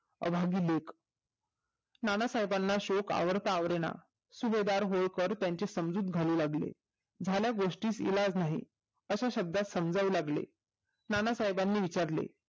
अभागी लेक नानासाहेबांना शोक आवरता आवरण सुबेदार होळकर त्याची समजूत घालू लागले झाल्यास गोष्टीस इलाज नाही अशा शब्दास समजावू लागले नाना साहेबानी विचारले